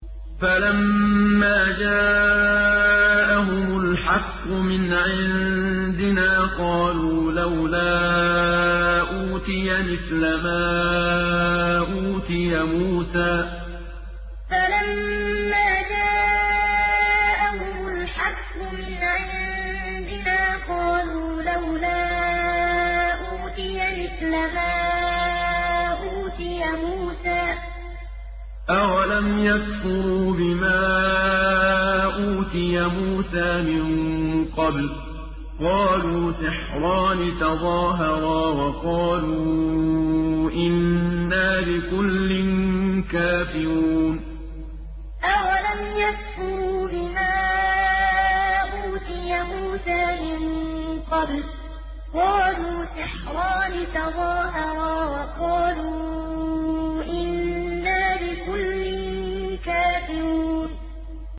فَلَمَّا جَاءَهُمُ الْحَقُّ مِنْ عِندِنَا قَالُوا لَوْلَا أُوتِيَ مِثْلَ مَا أُوتِيَ مُوسَىٰ ۚ أَوَلَمْ يَكْفُرُوا بِمَا أُوتِيَ مُوسَىٰ مِن قَبْلُ ۖ قَالُوا سِحْرَانِ تَظَاهَرَا وَقَالُوا إِنَّا بِكُلٍّ كَافِرُونَ فَلَمَّا جَاءَهُمُ الْحَقُّ مِنْ عِندِنَا قَالُوا لَوْلَا أُوتِيَ مِثْلَ مَا أُوتِيَ مُوسَىٰ ۚ أَوَلَمْ يَكْفُرُوا بِمَا أُوتِيَ مُوسَىٰ مِن قَبْلُ ۖ قَالُوا سِحْرَانِ تَظَاهَرَا وَقَالُوا إِنَّا بِكُلٍّ كَافِرُونَ